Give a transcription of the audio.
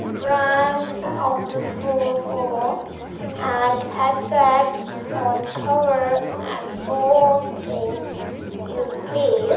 brands of the full form and headsets phone cover and so things is place.